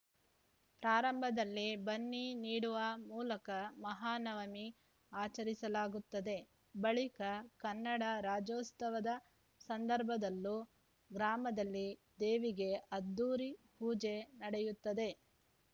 ಪ್ರಾರಂಭದಲ್ಲಿ ಬನ್ನಿ ನೀಡುವ ಮೂಲಕ ಮಹಾನವಮಿ ಆಚರಿಸಲಾಗುತ್ತದೆ ಬಳಿಕ ಕನ್ನಡ ರಾಜ್ಯೋತ್ಸವದ ಸಂದರ್ಭದಲ್ಲೂ ಗ್ರಾಮದಲ್ಲಿ ದೇವಿಗೆ ಅದ್ಧೂರಿ ಪೂಜೆ ನಡೆಯುತ್ತದೆ